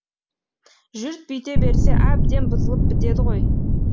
жұрт бүйте берсе әбден бұзылып бітеді ғой